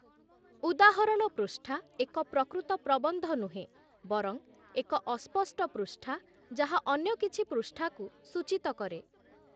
ଉଦାହରଣ ପୃଷ୍ଠା ଏକ ପ୍ରକୃତ ପ୍ରବନ୍ଧ ନୁହେଁ ବରଂ ଏକ ଅସ୍ପଷ୍ଟ ପୃଷ୍ଠା ଯାହା ଅନ୍ୟ କିଛି ପୃଷ୍ଠାକୁ ସୂଚିତ କରେ ।